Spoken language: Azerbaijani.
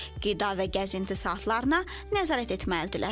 Qida və gəzinti saatlarına nəzarət etməlidirlər.